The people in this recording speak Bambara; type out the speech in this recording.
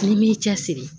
N'i m'i cɛsiri